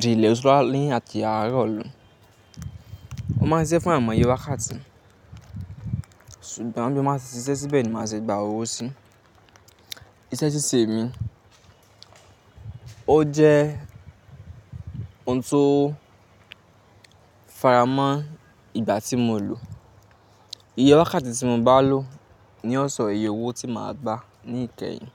di ílẹ̀ ṣú ní àti àárọ̀. Mo máa ń ṣiṣẹ́ fún àìmọye wákàtí. Ṣùgbọ́n bí mo bá ti ṣiṣẹ́ síbẹ̀ ni màá ṣe gba owó sí. Ìṣe ṣíṣe mi ó jẹ́ ohun tó faramọ́ ìgbà tí mo lò. Iye wákàtí tí mo bá lò ni ó ṣọ iye owó tí màá gba ní ìkẹyìn.